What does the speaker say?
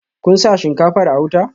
Kun sa shinkafar a wuta?